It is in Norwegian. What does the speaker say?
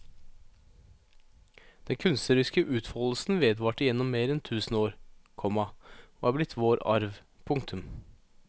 Den kunstneriske utfoldelsen vedvarte gjennom mer enn tusen år, komma og er blitt vår arv. punktum